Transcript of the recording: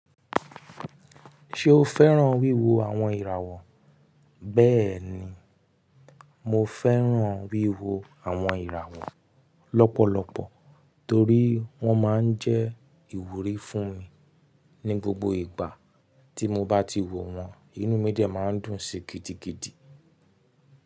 Ṣé o fẹ́ràn wíwo àwọn ìràwọ̀? Bẹ́ẹ̀ni, mo fẹ́ràn wíwo àwọn ìràwọ̀ lọ́pọ̀lọpọ̀ torí wọ́n máa ń jẹ́ ìwúrí fún mi ní gbogbo ìgbà tí mo bá ti wò wọ́n inú mi dẹ̀ máa ń dùn sí gidigidi.